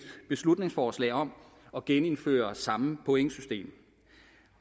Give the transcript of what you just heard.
beslutningsforslag om at genindføre samme pointsystem